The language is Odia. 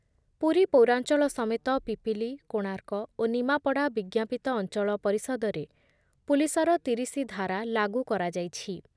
ପୁରୀ ପୌରାଞ୍ଚଳ ସମେତ ପିପିଲି, କୋଣାର୍କ ଓ ନିମାପଡା ବିଜ୍ଞପିତ ଅଞ୍ଚଳ ପରିଷଦରେ ପୁଲିସର ତିରିଶି ଧାରା ଲାଗୁ କରାଯାଇଛି ।